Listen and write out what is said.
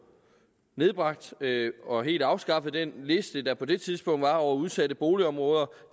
nedbragt og helt afskaffe den liste der på det tidspunkt var over udsatte boligområder